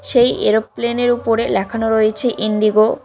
সেই এরোপ্লেন -এর উপরে লেখানো রয়েছে ইন্ডিগো ।